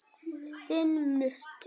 Þinn Murti.